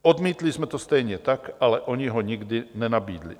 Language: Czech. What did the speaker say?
Odmítli jsme to stejně tak, ale oni ho nikdy nenabídli.